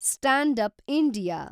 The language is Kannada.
stand up India